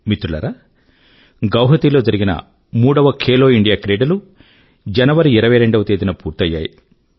మిత్రులారా గువాహాటీ లో జరిగిన మూడవ ఖేలో ఇండియా క్రీడలు జనవరి 22వ తేదీన పూర్తయ్యాయి